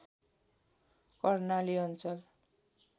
कर्णाली अञ्चल